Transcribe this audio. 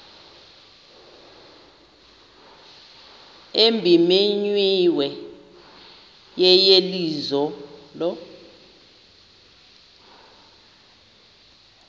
ebimenyiwe yeyeliso lo